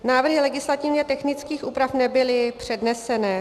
Návrhy legislativně technických úprav nebyly předneseny.